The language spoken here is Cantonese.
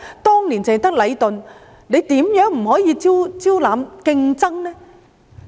當年只有禮頓，現在為何不可以招攬競爭呢？